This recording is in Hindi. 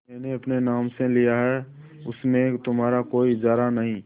मैंने अपने नाम से लिया है उसमें तुम्हारा कोई इजारा नहीं